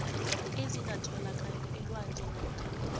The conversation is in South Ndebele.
ezingatholakali elwandle namkha